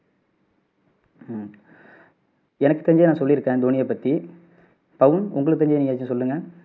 எனக்கு தெரிஞ்சதை நான் சொல்லிருக்கேன் தோனியை பத்தி பவன் உங்களுக்கு தெரிஞ்சதை நீங்க எதாச்சும் சொல்லுங்க